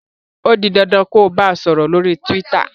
o dì dandan kò bá sòrò lórí twitter!